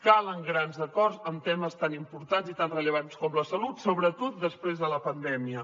calen grans acords en temes tan importants i tan rellevants com la salut sobretot després de la pandèmia